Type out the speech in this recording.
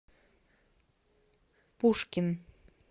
пушкин